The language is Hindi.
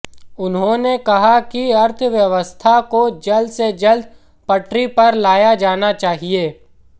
उन्होंने कहा कि अर्थव्यवस्था को जल्द से जल्द पटरी पर लाया जाना चाहिए